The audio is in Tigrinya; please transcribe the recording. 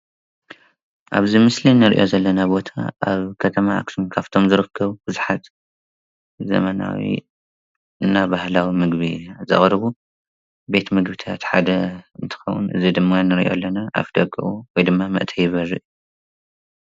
እብዚ ምስሊ እንሪኦ ዘለና ቦታ አብ ከተማ አክሱም ዝርከብ ዘመናዊ እና ባህላዊ ምግቢ ዘቅርቡ ቤት ምግብታት ሓደ እንትከውን እዚ ድማ እንሪኦ ዘለና አፍደግኡ ወይ ድማ መእተዊ በሪ ።